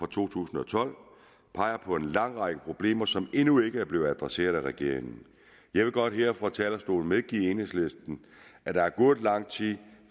to tusind og tolv peger på en lang række problemer som endnu ikke er blevet adresseret af regeringen jeg vil godt her fra talerstolen medgive enhedslisten at der er gået lang tid